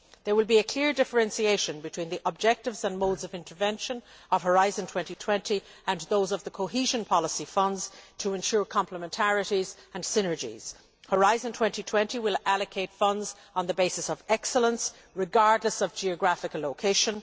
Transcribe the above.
There will be a clear differentiation between the objectives and modes of intervention of Horizon 2020 and those of the cohesion policy funds, to ensure complementarities and synergies. Horizon 2020 will allocate funds on the basis of excellence, regardless of geographical location.